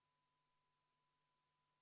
25. muudatusettepaneku on esitanud EKRE fraktsioon.